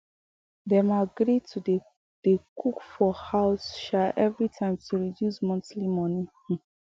dem agree um to dey dey cook for house um every time to reduce monthly money um